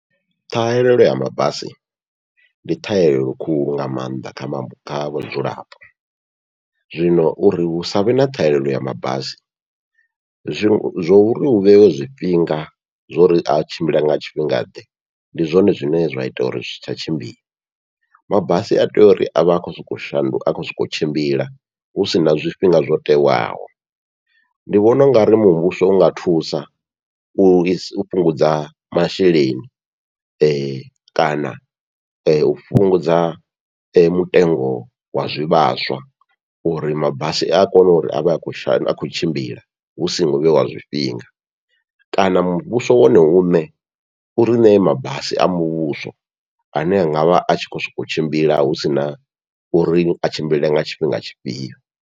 Ṱhahelelo ya mabasi ndi ṱhahelelo khulu nga maanḓa kha kha vhadzulapo, zwino uri hu savhe na ṱhahelelo ya mabasi zwo zwo uri hu vheiwe zwifhinga zwo uri a tshimbile nga tshifhinga ḓe ndi zwone zwine zwa ita uri zwi si tsha tshimbila, mabasi atea uri avhe a khou sokou shanduka a khou sokou tshimbila husina zwifhinga zwo tewaho. Ndi vhona ungari muvhuso unga thusa u fhungudza masheleni, kana u fhungudza mutengo wa zwivhaswa uri mabasi a kone uri avhe a khou shandu a khou tshimbila hu songo vheiwa zwifhinga, kana muvhuso wone uṋe uri ṋee mabasi a muvhuso ane anga vha atshi khou sokou tshimbila husina uri a tshimbile nga tshifhinga tshifhio.